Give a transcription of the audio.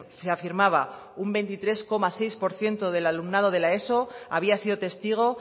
se afirmaba un veintitrés coma seis por ciento del alumnado de la eso había sido testigo